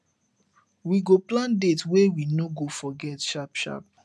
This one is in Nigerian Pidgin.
we go plan date wey we no go forget sharp sharp